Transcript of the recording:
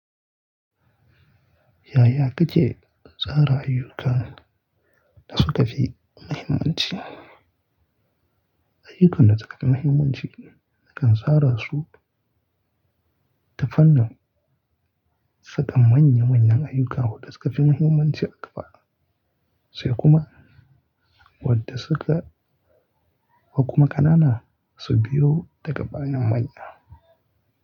Yaya kake tsara ayyuka da suka fi muhimmanci? Ayyukan da suka fi muhimmanci nakan tsara su ta fannin saka manya manyan ayyuka waɗanda suka fi muhimmanci a gaba sai kuma wadda suka ko kuma ƙanana su biyo daga ɓanyen manya.